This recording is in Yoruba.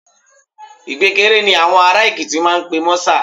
Ìpékeré ni àwọn ará Èkìtì máa ń pe mọ́sà